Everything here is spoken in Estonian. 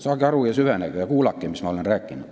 Saage aru, süvenege ja kuulake, mis ma räägin.